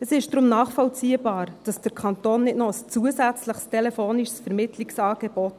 Es ist deshalb nachvollziehbar, dass der Kanton nicht noch ein zusätzliches telefonisches Vermittlungsangebot